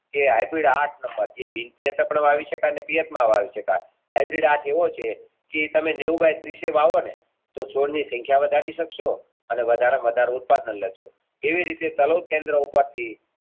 જે તો સો ની સંખ્યા વધારી શકશો અને વધારેમાં વધારે ઉત્પાદન લય શકશો એ રીતે કલાપ કેન્દ્ર ઉપરથી